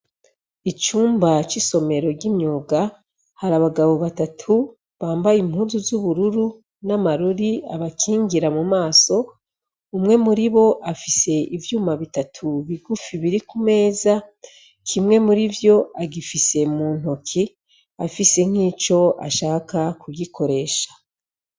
Icumba c'isomero ry'imyuga hari abagabo batatu bambaye impunzu z'ubururu n'amarori abakingira mu maso; umwe muri bo afise ivyuma bitatu bigufi biri ku meza; kimwe muri vyo agifise mu ntoki afise nk'ico ashaka kugikoresha.